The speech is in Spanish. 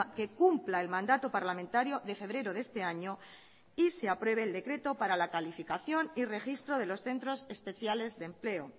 que cumpla el mandato parlamentario de febrero de este año y se apruebe el decreto para la calificación y registro de los centros especiales de empleo